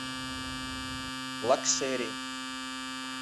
лакшери